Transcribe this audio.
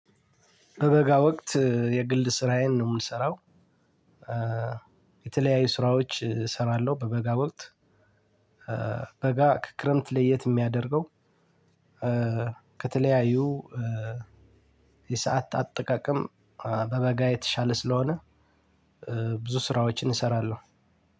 በበጋ ወቅት የግል ስራዬን ነው የምሰራው የተለያዩ ስራዎች እሰራለሁ በበጋ ወቅት። በጋ ከክረምት ለየት የሚያደርገው ከተለያዩ የሰዓት አጠቃቀም በበጋ የተሻለ ስለሆነ ብዙ ስራዎችን እሰራለሁ።